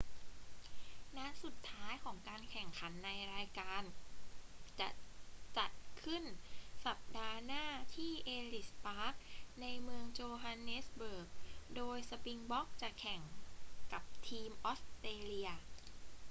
นัดสุดท้ายของการแข่งขันในรายการจะจัดขึ้นสัปดาห์หน้าที่เอลลิส ปาร์ค ในเมืองโจฮันเนสเบิร์ก โดยสปริงบ็อกจะแข่งกับทีมออสเตรเลีย